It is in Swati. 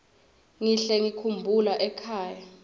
ngihle ngikhumbula ekhaya